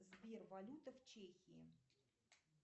сбер валюта в чехии